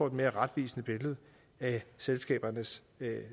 et mere retvisende billede af selskabernes